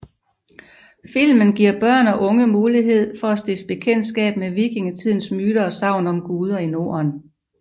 Filmen giver børn og unge mulighed for at stifte bekendtskab med Vikingetidens myter og sagn om guder i Norden